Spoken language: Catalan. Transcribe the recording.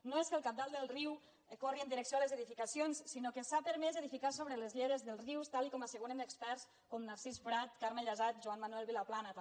no és que el cabal del riu corri en direcció a les edificacions sinó que s’ha permès edificar sobre les lleres dels rius tal com asseguren experts com narcís prat carme llasat joan manuel vilaplana també